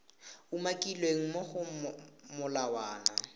umakilweng mo go molawana wa